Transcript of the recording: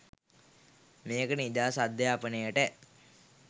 මේක නිදහස් අධ්‍යාපනයට